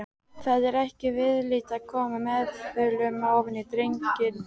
Það er ekki viðlit að koma meðulum ofan í drenginn.